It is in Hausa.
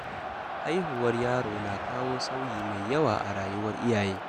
Haihuwar yaro na kawo sauyi mai yawa a rayuwar iyaye.